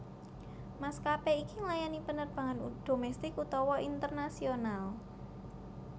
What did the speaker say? Maskapé iki nglayani penerbangan domestik utawa internasional